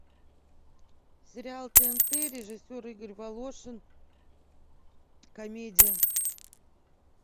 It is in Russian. сериал тнт режиссер игорь волошин комедия